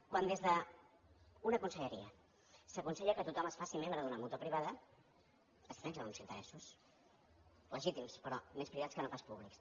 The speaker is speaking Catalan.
quan des d’una conselleria s’aconsella que tothom es faci membre d’una mútua privada es defensen uns interessos legítims però més privats que no pas públics